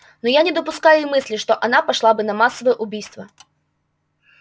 но я не допускаю и мысли что она пошла бы на массовое убийство